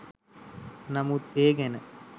නමුත් ඒ ගැන